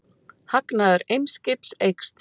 Hagnaður Eimskips eykst